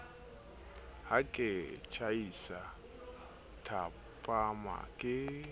ha ke tjhaisa thapama ke